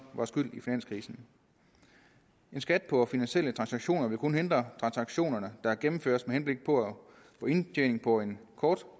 var skyld i finanskrisen en skat på finansielle transaktioner vil kun hindre transaktioner der gennemføres med henblik på at få indtjening over en kort